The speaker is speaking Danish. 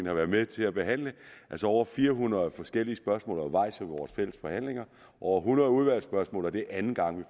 har været med til at behandle over fire hundrede forskellige spørgsmål undervejs i vores fælles forhandlinger over hundrede udvalgsspørgsmål og det er anden gang vi